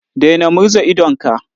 Daina murza idonka.